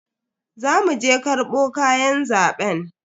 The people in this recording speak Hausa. Za mu je karbo kayan zaben.